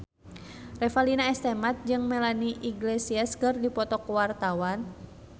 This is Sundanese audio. Revalina S. Temat jeung Melanie Iglesias keur dipoto ku wartawan